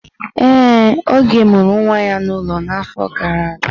Ee, Oge mụrụ nwa ya n'ụlọ n'afọ gara aga.